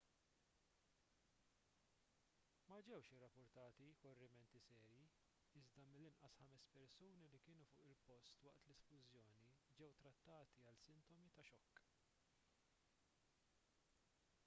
ma ġewx irrappurtati korrimenti serji iżda mill-inqas ħames persuni li kienu fuq il-post waqt l-isplużjoni ġew trattati għal sintomi ta' xokk